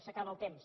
s’acaba el temps